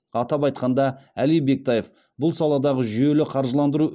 атап айтқанда әли бектаев бұл саладағы жүйелі қаржыландыру